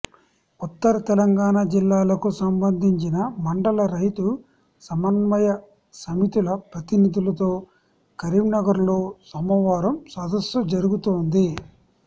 ఉత్తర తెలంగాణ జిల్లాలకు సంబంధించిన మండల రైతు సమన్వయ సమితుల ప్రతినిధులతో కరీంనగర్లో సోమవారం సదస్సు జరుగుతోంది